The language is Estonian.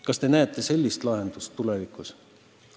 Kas te näete sellist lahendust tulevikuks?